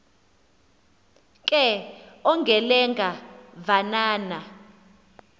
ke ongelenga vananga